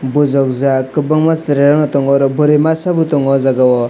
bujukjak kwbangma chwrairokno tongo oro bwrwi masa bo tongo oh jagao.